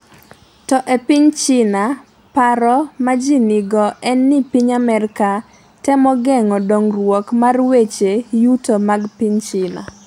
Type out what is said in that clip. to e piny China, paro ma ji nigo en ni piny Amerka temo geng’o dongruok mar weche yuto mag piny China.